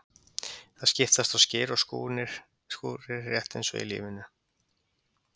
Það skiptast á skin og skúrir, rétt eins og í lífinu.